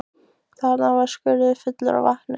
Þarna var skurður fullur af vatni.